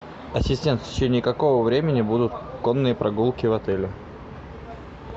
ассистент в течение какого времени будут конные прогулки в отеле